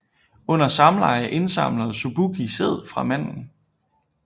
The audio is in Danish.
Under samleje indsamler Succubi sæd fra manden